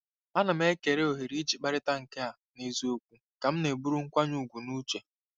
Ana m ekele ohere iji kparịta nke a n'eziokwu ka m na-eburu nkwanye ùgwù n'uche.